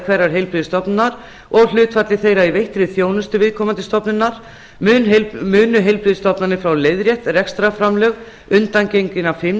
hverrar heilbrigðisstofnunar og hlutfalli þeirra í veittri þjónustu viðkomandi stofnunar þriðja munu heilbrigðisstofnanir fá leiðrétt rekstrarframlög undangenginna tvö